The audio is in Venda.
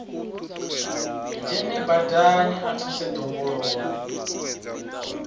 dzhene badani a thuse ḓongololo